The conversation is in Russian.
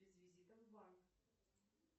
без визита в банк